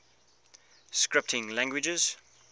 scripting languages